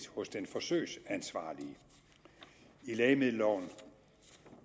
hos den forsøgsansvarlige i lægemiddelloven